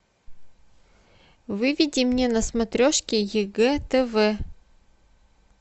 выведи мне на смотрешке егэ тв